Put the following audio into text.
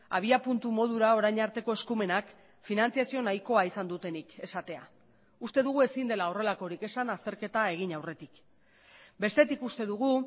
abiapuntu modura orain arteko eskumenak finantzazio nahikoa izan dutenik esatea uste dugu ezin dela horrelakorik esan azterketa egin aurretik bestetik uste dugu